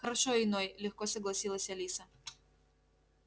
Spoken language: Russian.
хорошо иной легко согласилась алиса